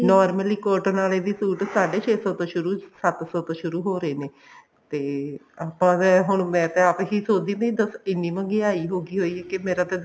normally cotton ਆਲੇ ਵੀ suit ਸਾਡੇ ਛੇ ਸੋ ਸ਼ੁਰੂ ਸੱਤ ਸੋ ਤੋਂ ਸ਼ੁਰੂ ਹੋ ਰਹੇ ਨੇ ਤੇ ਆਪਾਂ ਤਾਂ ਹੁਣ ਮੈਂ ਤੇ ਆਪ ਹੀ ਸੋਚਦੀ ਵੀ ਦਸ ਇੰਨੀ ਮਹਿੰਗਾਈ ਹੋਗੀ ਹੋਏਗੀ ਕਿ ਮੇਰਾ ਤਾਂ